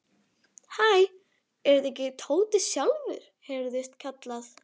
Hæ, er þetta ekki Tóti sjálfur? heyrðist kallað.